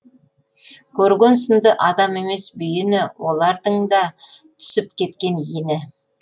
көрген сынды адам емес бүйіні олардың да түсіп кеткен иіні